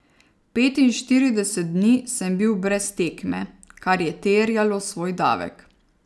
Petinštirideset dni sem bil brez tekme, kar je terjalo svoj davek.